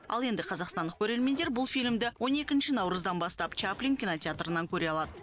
ал енді қазақстандық көрермендер бұл фильмді он екінші наурыздан бастап чаплин кинотеатрынан көре алады